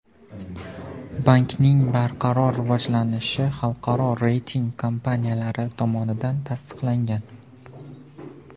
Bankning barqaror rivojlanishi xalqaro reyting kompaniyalari tomonidan tasdiqlangan.